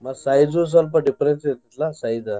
ಮತ್ತ್ size ಉ ಸ್ವಲ್ಪ difference ಇರ್ತೆತ್ಲಾ size .